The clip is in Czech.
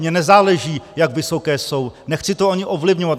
Mně nezáleží, jak vysoké jsou, nechci to ani ovlivňovat.